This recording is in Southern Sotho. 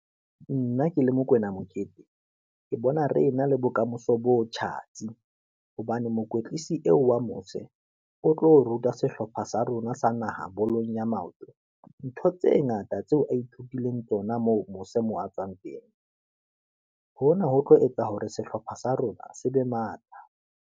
Nna ke le Mokoena Mokete, ke bona re na le bokamoso bo tjhatsi, hobane mokwetlisi eo wa mose, o tlo ruta sehlopha sa rona sa naha bolong ya maoto, ntho tse ngata tseo a ithutileng tsona moo mose moo a tswang teng. Hona ho tlo etsa hore sehlopha sa rona se be matla.